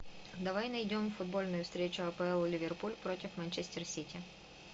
давай найдем футбольную встречу апл ливерпуль против манчестер сити